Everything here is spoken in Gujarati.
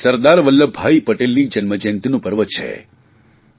એવા સરદાર વલ્લભભાઇ પટેલની જન્મજયંતિનું પર્વ છે